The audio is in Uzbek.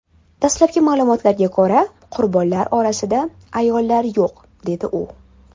Dastlabki ma’lumotlarga ko‘ra, qurbonlar orasida ayollar yo‘q”, dedi u.